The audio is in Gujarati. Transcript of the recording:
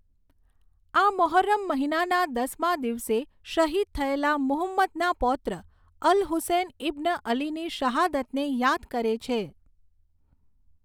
આ મોહર્રમ મહિનાના દસમા દિવસે શહીદ થયેલા મુહમ્મદના પૌત્ર અલ હુસૈન ઇબ્ન અલીની શહાદતને યાદ કરે છે.